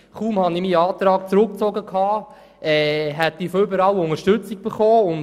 Kaum hatte ich meinen Antrag zurückgezogen, hätte ich von allen Seiten Unterstützung erhalten.